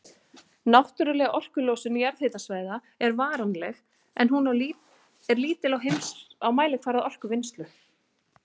Náttúrleg orkulosun jarðhitasvæða er varanleg, en hún er lítil á mælikvarða orkuvinnslu.